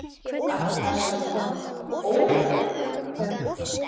Ætli það sé svona ógurlega megrandi